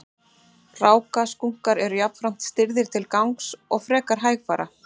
Rákaskunkar eru jafnframt stirðir til gangs og frekar hægfara.